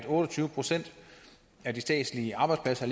otte og tyve procent af de statslige arbejdspladser